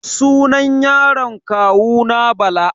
Sunan yaron kawuna Bala.